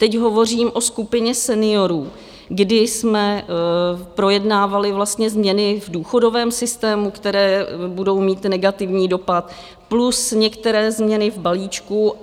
Teď hovořím o skupině seniorů, kdy jsme projednávali vlastně změny v důchodovém systému, které budou mít negativní dopad, plus některé změny v balíčku.